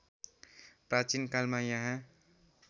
प्राचीन कालमा यहाँ